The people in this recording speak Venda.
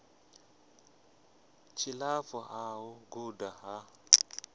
tshilapfu ha u guda ha